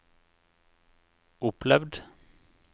opplevd